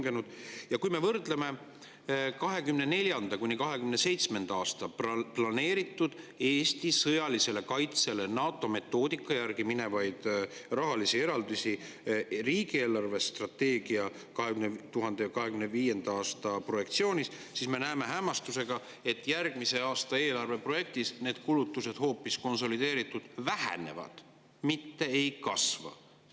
Aga kui me NATO metoodika järgi võrdleme 2024.–2027. aastaks planeeritud, Eesti sõjalisele kaitsele minevaid rahalisi eraldisi riigi eelarvestrateegia 2025. aasta projektsioonis, siis me näeme hämmastusega, et järgmise aasta eelarve projektis need kulutused hoopis konsolideeritult vähenevad, mitte ei kasva.